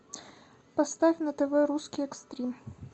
поставь на тв русский экстрим